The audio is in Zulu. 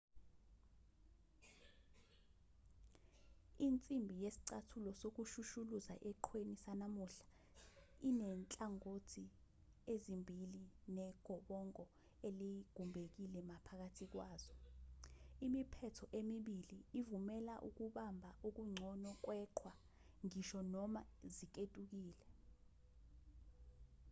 insimbi yesicathulo sokushushuluza eqhweni sanamuhla inezinhlangothi ezimbili negobongo eligumbekile maphakathi kwazo imiphetho emibili ivumela ukubamba okungcono kweqhwa ngisho noma ziketukile